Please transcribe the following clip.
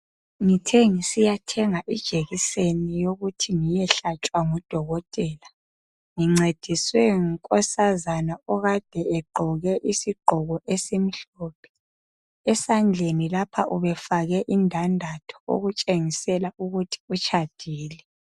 Ngethe ngisiya thenga ijekiseni yokuthi ngiyehlatshwa ngudokotela ngincediswe ngunkosazana okade egqoke isigqoke esimhlophe esandleni lapha ubefake indandatho okutshengisela ukuthi utshadile.